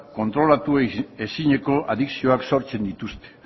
kontrolatu ezineko adikzioak sortzen dituzte